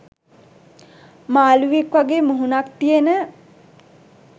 මාළුවෙක් වගේ මුහුණක් තියෙන